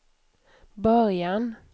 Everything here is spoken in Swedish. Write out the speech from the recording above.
början